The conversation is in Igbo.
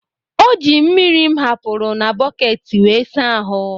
O ji mmiri m hapụrụ na bọket wee saa ahụ́.